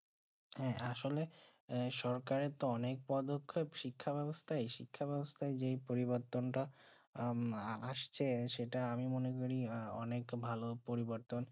হেঁ আসলে সরকারের কে অনেক পদকে শিক্ষা বেবস্তায় শিক্ষা বেবস্তায় যে পরিবর্তন তা আসছে সে সেইটা আমি মনে করি অনেক আহ ভালো পরিবর্তন